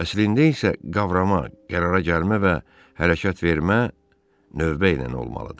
Əslində isə qavrama, qərara gəlmə və hərəkət vermə növbə ilə olmalıdır.